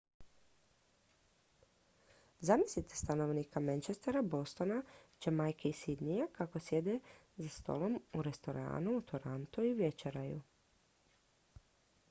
zamislite stanovnika manchestera bostona jamajke i sydneya kako sjede za stolom u restoranu u torontu i večeraju